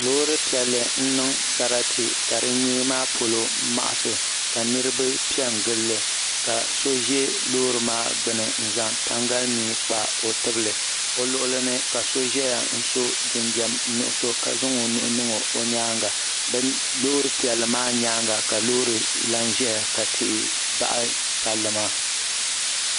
Loori piɛlli n niŋ sarati ka di nyee maa polo maɣasi ka niriba piɛngilli ka so ʒɛ loori maa gbini n zaŋ tangalimia kpa o tibili o luɣulini ka so ʒɛya n so jinjiɛm nuɣuso ka zaŋ o nuu niŋ o nyaanga loori piɛlli maa nyaanga ka loori laha ʒia ka tihi baɣi palli maa.